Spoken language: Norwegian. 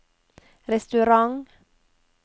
restaurant